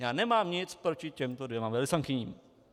Já nemám nic proti těmto dvěma velvyslankyním.